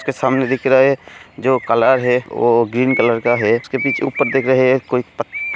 इसके सामने दिख रहा है जो कलर है वो ग्रीन कलर (Color) का है उसके पीछे ऊपर दिख रहा है जो प --